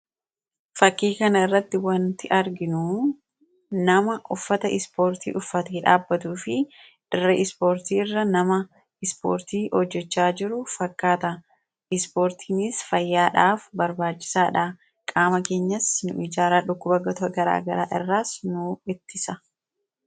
Fakkii kanarratti kan argaa jirru nama uffata ispoortii uffatee dhaabbatuu fi dirree ispoortii irra ispoortii hojjachaa jiru fakkaata. Ispoortiinis fayyaadhaaf barbaachisaadha. Qaama keenyas nuuf ijaara dhukkuboota garaagaraa irraas nu ittisa.